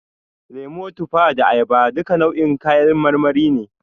Lemo, tufa da ayaba duka nau'in kayan marmari ne.